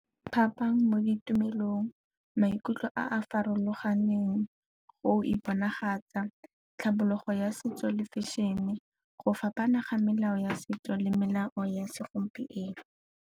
Phapang mo ditumelong, maikutlo a a farologaneng go iponagatsa, tlhabologo ya setso le fashion-e, go fapana ga melao ya setso le melao ya segompieno.